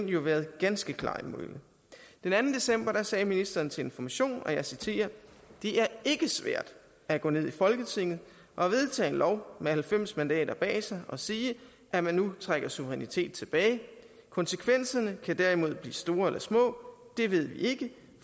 jo været ganske klar mælet den anden december sagde ministeren til information det er ikke svært at gå ned i folketinget og vedtage en lov med halvfems mandater bag sig og sige at man nu trækker suverænitet tilbage konsekvenserne kan derimod blive store eller små det ved vi ikke